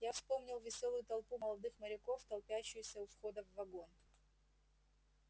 я вспомнил весёлую толпу молодых моряков толпящуюся у входа в вагон